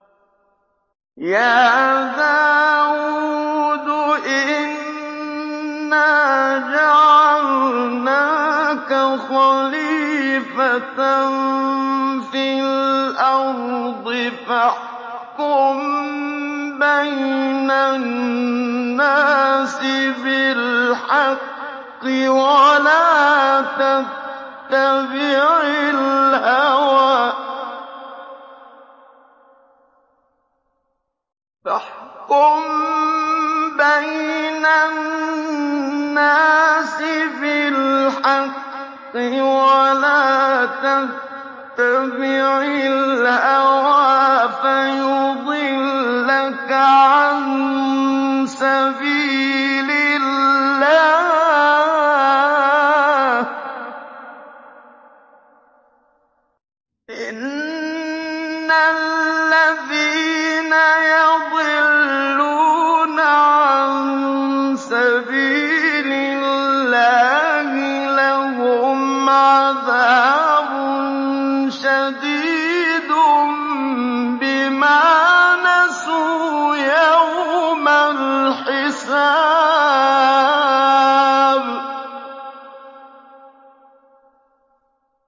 يَا دَاوُودُ إِنَّا جَعَلْنَاكَ خَلِيفَةً فِي الْأَرْضِ فَاحْكُم بَيْنَ النَّاسِ بِالْحَقِّ وَلَا تَتَّبِعِ الْهَوَىٰ فَيُضِلَّكَ عَن سَبِيلِ اللَّهِ ۚ إِنَّ الَّذِينَ يَضِلُّونَ عَن سَبِيلِ اللَّهِ لَهُمْ عَذَابٌ شَدِيدٌ بِمَا نَسُوا يَوْمَ الْحِسَابِ